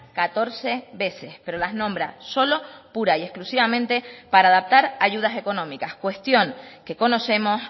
catorce veces pero las nombra solo pura y exclusivamente para adaptar ayudas económicas cuestión que conocemos